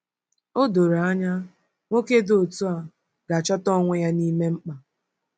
O doro anya, nwoke dị otu a ga-achọta onwe ya n’ime mkpa.